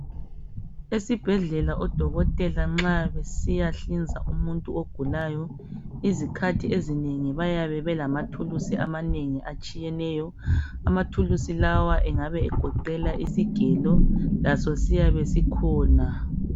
esibhedlela odokotela nxa besiya nhlinza umuntu ogulayo izikhathi ezinengi bayabe belama thuluzi atshiyeyo, amathululisi lawa ayabe egoqela isigelo lasosiybe sikhona.